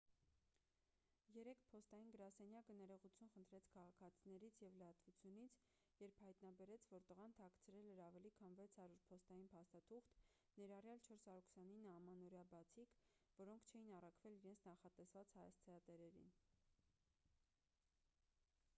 երեկ փոստային գրասենյակը ներողություն խնդրեց քաղաքացիներից և լրատվությունից երբ հայտնաբերեց որ տղան թաքցրել էր ավելի քան 600 փոստային փաստաթուղթ ներառյալ 429 ամանորյա բացիկ որոնք չէին առաքվել իրենց նախատեսված հասցեատերերին